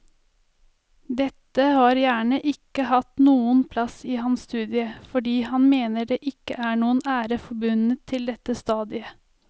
Dette har gjerne ikke hatt noen plass i hans studie fordi han mener det ikke er noen ære forbundet til dette stadiet.